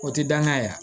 O tɛ danga yɛrɛ ye